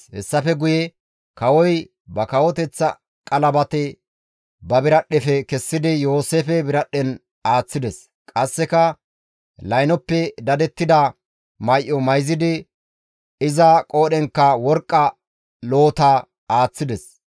Hessafe guye kawoy ba kawoteththa qalabate ba biradhdhefe kessidi Yooseefe biradhdhen aaththides; qasseka Laynoppe dadettida may7o mayzidi iza qoodhenkka worqqa loota aaththides.